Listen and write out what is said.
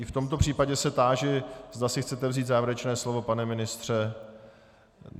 I v tomto případě se táži, zda si chcete vzít závěrečné slovo - pane ministře?